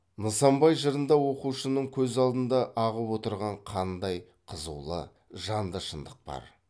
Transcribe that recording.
нысанбай жырында оқушының көз алдында ағып отырған қандай қызулы жанды шындық бар